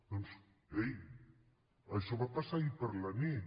doncs ei això va passar ahir a la nit